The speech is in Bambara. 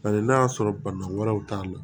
Paseke n'a y'a sɔrɔ bana wɛrɛw t'a la